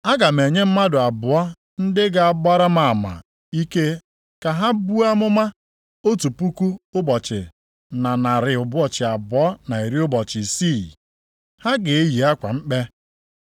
Aga m enye mmadụ abụọ ndị ga-agbara m ama ike ka ha buo amụma otu puku ụbọchị na narị ụbọchị abụọ na iri ụbọchị isii (1,260), ha ga-eyi akwa mkpe.”